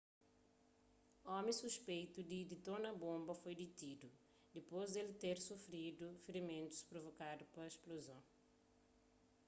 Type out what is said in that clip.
omi suspeitu di ditona bonba foi ditidu dipôs di el ter sufridu firimentus provokadu pa spluzon